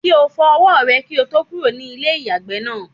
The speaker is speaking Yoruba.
Kí o fọ ọwọ́ rẹ kí o tó kúrò ní ilé ìyàgbẹ́ náà.